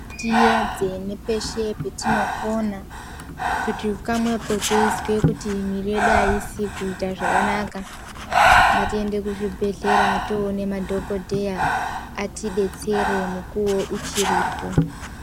Tiedze nepeshe petinokona kuti kamwepo teizwe mwiri yedu haisi kuita zvakanaka. Ngatiende kuzvibhedhlera toone madhogodheya atibetsere mukuvo uchiripo.